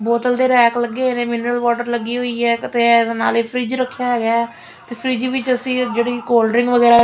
ਬੋਤਲ ਦੇ ਰੈਕ ਲੱਗੇ ਹੋਏ ਨੇ ਮਿਨਰਲ ਵਾਟਰ ਲੱਗੀ ਹੋਈ ਐ ਕਿਤੇ ਇਹਦੇ ਨਾਲ ਈ ਫਰਿਜ ਰੱਖਿਆ ਹੈਗਾ ਤੇ ਫਰੀਜ ਵਿੱਚ ਅਸੀਂ ਜਿਹੜੀ ਕੋਲਡਰਿੰਕ ਵਗੈਰਾ ਐ--